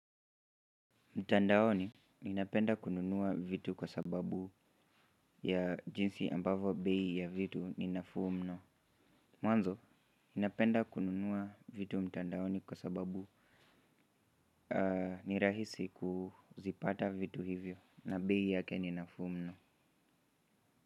Mtandaoni ninapenda kununua vitu kwa sababu ya jinsi ambavyo bei ya vitu ni nafuu mno mwanzo, ninapenda kununua vitu mtandaoni kwa sababu ni rahisi kuzipata vitu hivyo na bei yake ni nafuu mno.